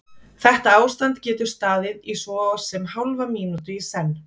Þetta ástand getur staðið í svo sem hálfa mínútu í senn.